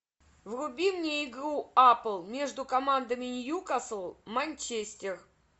вруби мне игру апл между командами ньюкасл манчестер